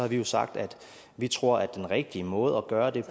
vi jo sagt at vi tror at den rigtige måde at gøre det